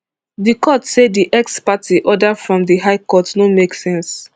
di court say di ex parte order from di high court no make sense